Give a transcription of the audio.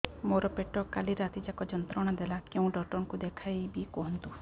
ମୋର ପେଟ କାଲି ରାତି ଯାକ ଯନ୍ତ୍ରଣା ଦେଲା କେଉଁ ଡକ୍ଟର ଙ୍କୁ ଦେଖାଇବି କୁହନ୍ତ